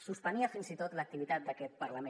suspenia fins i tot l’activitat d’aquest parlament